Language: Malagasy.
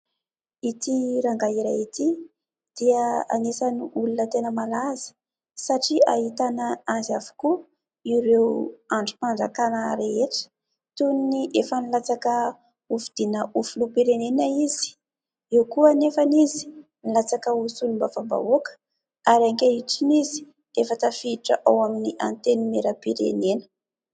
Ity rangahy iray ity dia anisan'ny olona tena malaza satria ahitana azy avokoa ireo andrim-panjakana rehetra toy ny efa nilatsaka ho fidiana ho filoham-pirenena izy, eo koa anefa izy nilatsaka ho solombavambahoaka ary ankehitriny izy efa tafiditra ao amin'ny antenimieram-pirenena.